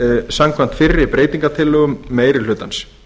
samkvæmt fyrri breytingartillögum meiri hlutans